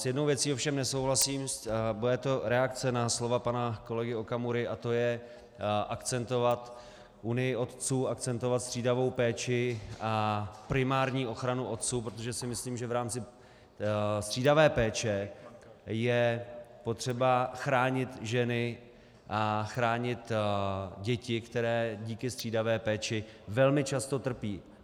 S jednou věcí ovšem nesouhlasím, bude to reakce na slova pana kolegy Okamury, a to je akcentovat Unii otců, akcentovat střídavou péči a primární ochranu otců, protože si myslím, že v rámci střídavé péče je potřeba chránit ženy a chránit děti, které díky střídavé péče velmi často trpí.